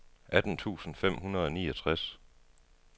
atten tusind fem hundrede og niogtres